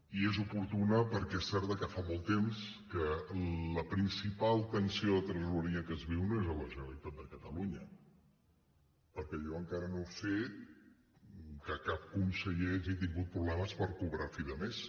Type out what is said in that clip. i és oportuna perquè és cert que fa molt temps que la principal tensió de tresoreria que es viu no és a la generalitat de catalunya perquè jo encara no sé que cap conseller hagi tingut problemes per cobrar a fi de mes